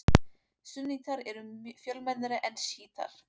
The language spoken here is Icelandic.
Súnnítar eru mun fjölmennari en sjítar.